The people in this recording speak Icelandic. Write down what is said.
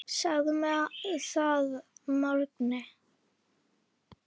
Segðu mér það að morgni.